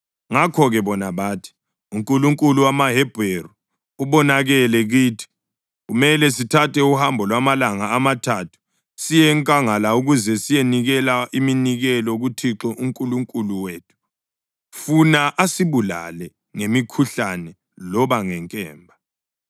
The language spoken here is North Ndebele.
Ngakho-ke bona bathi, “UNkulunkulu wamaHebheru ubonakele kithi. Kumele sithathe uhambo lwamalanga amathathu siye enkangala ukuze siyenikela iminikelo kuThixo uNkulunkulu wethu, funa asibulale ngemikhuhlane loba ngenkemba.”